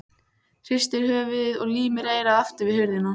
Hristir höfuðið og límir eyrað aftur við hurðina.